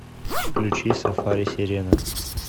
включи сафари серена